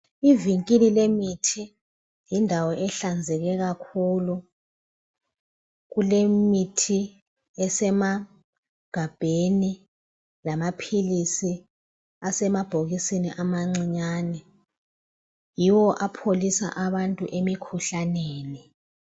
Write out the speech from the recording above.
ivinkili lemithi yindawo ehlanzeke kakhulu kulemithi esemagabheni lamaphilisi asemabhokisini amancinyane yiwo apholisa abantu emikhuhlaneni